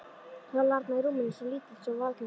Lá þarna í rúminu, svo lítill, svo varnarlaus, svaf.